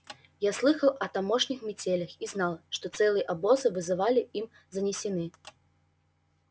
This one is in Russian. я слыхал о тамошних метелях и знал что целые обозы вызывали им занесены